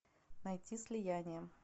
найти слияние